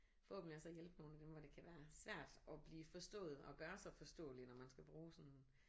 Forhåbentlig også at hjælpe nogle af dem hvor det kan være svært at blive forstået og gøre sig forståelig når man skal bruge sådan